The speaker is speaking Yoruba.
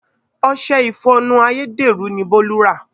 Ọṣẹ ìfọnu ayédèrú ni Bolu rà.